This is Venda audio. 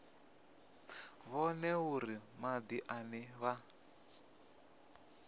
vhone uri madi ane vha